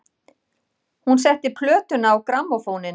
Hún setti plötuna á grammófóninn.